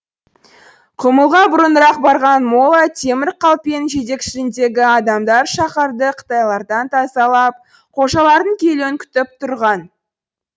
құмылға бұрынырақ барған молла темір қалпенің жетекшілігіндегі адамдар шаһарды қытайлардан тазалап қожалардың келуін күтіп тұрған